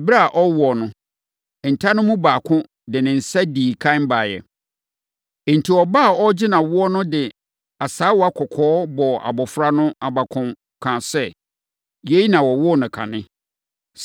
Ɛberɛ a ɔrewo no, nta no mu baako de ne nsa dii ɛkan baeɛ. Enti, ɔbaa a ɔregye no awoɔ no de asaawa kɔkɔɔ bɔɔ abɔfra no abakɔn, kaa sɛ, “Yei na wɔwoo no kane.”